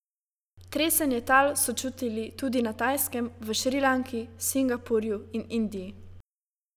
Tresenje tal so čutili tudi na Tajskem, v Šrilanki, Singapurju in Indiji.